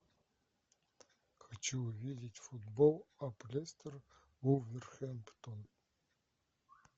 хочу увидеть футбол апл лестер вулверхэмптон